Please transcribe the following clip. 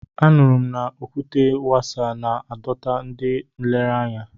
A nụrụ m na Okwute Wase na-adọta ndị nlereanya.